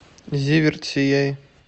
зиверт сияй